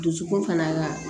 Dusukun fana ka